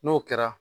N'o kɛra